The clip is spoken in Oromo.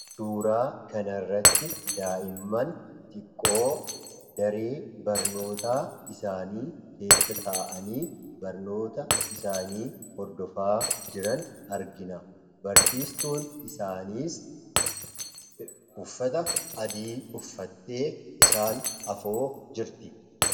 Suuraa kanarratti daa'immaan xiqqoo daree barnootaa isaanii keessa ta'anii barnoota isaanii hordofaa jiran argina. Barsiistuun isaaniis uffata adii uffattee isaan afoo jirti.